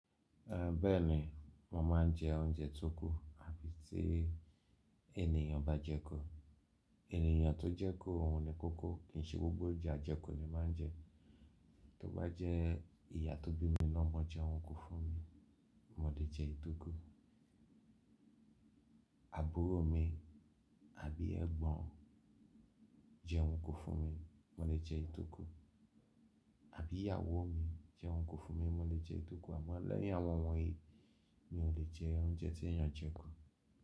Bẹ́ẹ̀ni, mo máa ń jẹ oúnjẹ tó kù àbí tí ènìyàn bá jẹ ku. Ènìyàn tó jẹ ku òun ni kókó kìí ṣe gbogbo ounje ajẹku ni máa ń jẹ. Tí ó bá jẹ́ ìyá tó bí mi lọ́mọ jẹ́un kun fún mi, mo lè jẹ́ eyì tókù. Àbúrò mi àbí ẹ̀gbọ́n jẹ́un kun fún mi, mo lè jẹ eyì tókù. Àbí ìyàwó mi jẹ́un kun fún mi, mo lè jẹ eyì tókùn. Àmọ́ lẹ́yìn àwọn won yìí, mi ò lè jẹ oúnjẹ tí ènìyàn jẹ ku.